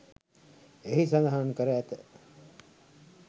එහි සඳහන් කර ඇත.